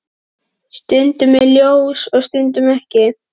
Stundum er ljós og stundum ekki.